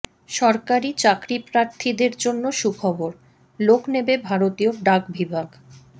সরকারি চাকরিপ্রার্থীদের জন্য সুখবর লোক নেবে ভারতীয় ডাক বিভাগ